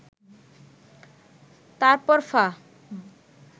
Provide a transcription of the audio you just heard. তারপর ফা